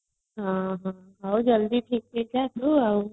ଉଁ ହୁଁ ଆଉ ଜଲ୍ଦି ଆଉ